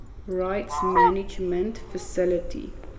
rights management facility